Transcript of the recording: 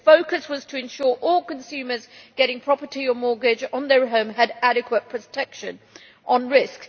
Its focus was to ensure that all consumers getting a property or a mortgage on their home had adequate protection on risk.